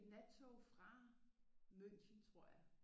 Et nattog fra München tror jeg